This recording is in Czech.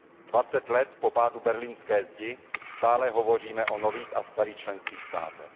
Dvacet let po pádu berlínské zdi stále hovoříme o nových a starých členských státech.